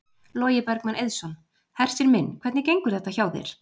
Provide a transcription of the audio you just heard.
Logi Bergmann Eiðsson: Hersir minn, hvernig gengur þetta hjá þér?